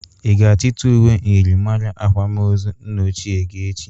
Ị ga-achịta ụwe myịrịmara akwam ozu nna ochie gị echi?